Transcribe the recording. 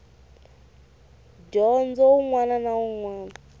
dyondzo wun wana na wun